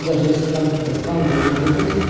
даже если там какие-то спамеры набегут